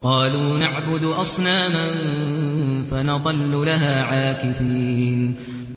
قَالُوا نَعْبُدُ أَصْنَامًا فَنَظَلُّ لَهَا عَاكِفِينَ